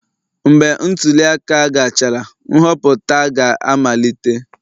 Mgbe ntuli aka gachara, nhọpụta ga-amalite